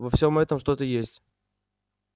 во всём этом что-то есть